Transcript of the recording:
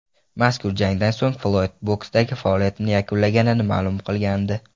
Mazkur jangdan so‘ng Floyd boksdagi faoliyatini yakunlaganini ma’lum qilgandi.